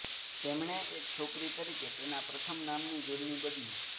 તેમણે એક છોકરી તરીકે તેના પ્રથમ નામની જોડણી બદલી